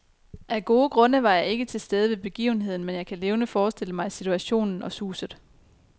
Af gode grunde var jeg ikke til stede ved begivenheden, men jeg kan levende forestille mig situationen og suset.